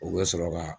U bɛ sɔrɔ ka